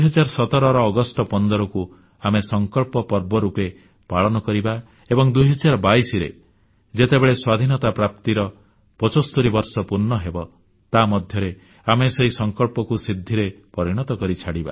ଏହି 2017ର ଅଗଷ୍ଟ 15କୁ ଆମେ ସଂକଳ୍ପ ପର୍ବ ରୂପେ ପାଳନ କରିବା ଏବଂ 2022ରେ ଯେତେବେଳେ ସ୍ୱାଧୀନତା ପ୍ରାପ୍ତିର 75 ବର୍ଷ ପୂର୍ଣ୍ଣ ହେବ ତାମଧ୍ୟରେ ଆମେ ସେହି ସଂକଳ୍ପକୁ ସିଦ୍ଧିରେ ପରିଣତ କରି ଛାଡ଼ିବା